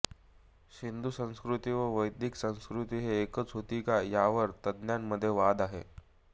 सिंधु संस्कृती व वैदिक संस्कृती हे एकच होती का यावर तज्ञांमध्ये वाद आहेत